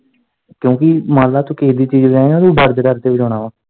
ਕਿਉਂਕਿ ਮੰਨ ਲੈ ਤੂੰ ਕਿਹੇ ਦੀ ਚੀਜ਼ ਲਏਗਾ ਡਰ ਕਰ ਕੇ ਵਜਾਉਣੇ ਐ।